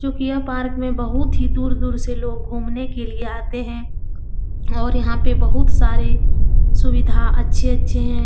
चूँकि यह पार्क में बहुत ही दूर-दूर से लोग घूमने के लिए आते हैं और यहाँ पे बहुत सारे सुविधा अच्छे-अच्छे हैं।